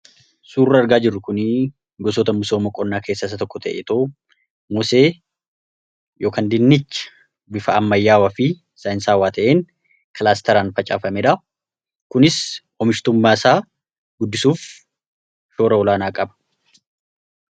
suurra argaa jirru kun gosoota misoo ma qonnaa keessa isa tokko ta'e mosee yookaan dinnichia bifa ammayyaawaa fi saayinsaawwaa ta'een kilaastaraan facaafameedha. kunis omishtummaa isaa guddisuuf shoora olaanaa qaba.